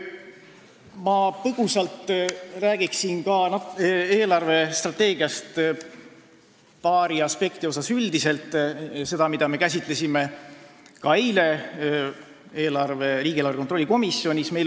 Ma räägin põgusalt eelarvestrateegia paarist aspektist, mida me käsitlesime ka eile riigieelarve kontrolli komisjonis.